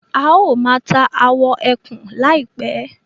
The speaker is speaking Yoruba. A ó máa ta awọ ẹkùn láìpẹ́.